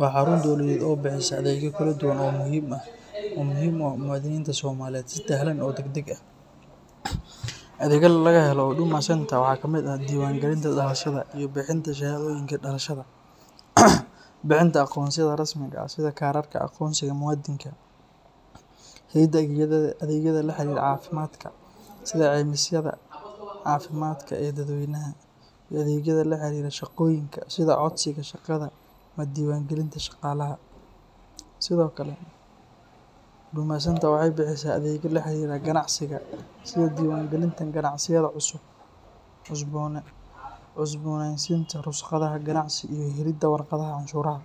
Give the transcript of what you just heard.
waa xarun dowladeed oo bixisa adeegyo kala duwan oo muhiim u ah muwaadiniinta Soomaaliyeed si sahlan oo degdeg ah. Adeegyada laga helo Huduma Centre waxaa ka mid ah diiwaangelinta dhalashada iyo bixinta shahaadooyinka dhalashada, bixinta aqoonsiyada rasmiga ah sida kaararka aqoonsiga muwaadinka, helidda adeegyada la xiriira caafimaadka sida caymisyada caafimaadka ee dadweynaha, iyo adeegyada la xiriira shaqooyinka sida codsiga shaqada ama diiwaangelinta shaqaalaha. Sidoo kale, Huduma Centre waxay bixisaa adeegyada la xiriira ganacsiga sida diiwaangelinta ganacsiyada cusub, cusboonaysiinta ruqsadaha ganacsi, iyo helidda warqadaha canshuuraha.